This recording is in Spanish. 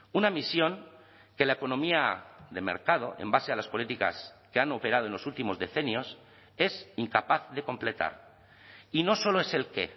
una misión que la economía de mercado en base a las políticas que han operado en los últimos decenios es incapaz de completar y no solo es el qué